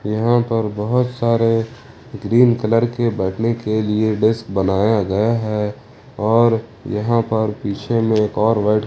यहां पर बहुत सारे ग्रीन कलर के बैठने के लिए डेस्क बनाया गया है और यहां पर पीछे में एक और व्हाइट --